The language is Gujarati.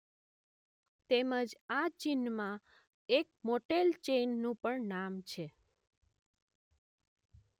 તેમજ આ ચીનમાં એક મોટેલ ચેઇનનું પણ નામ છે.